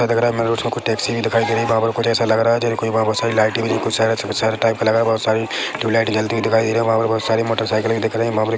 लग रहा है मेरे को टैक्सी भी दिखाई दे रही है वहाँ पे कुछ ऐसा लग रहा है जैसे कोई वहाँ बहुत सारे लाइटे भी शहर शहर टाइप का लग रहा है बहुत सारी ट्यूबलाइट जलती हुई दिखाई दे रही है वहाँ पे बहुत सारी मोटोरसाइकिल भी दिख रही है वहाँ पर एक --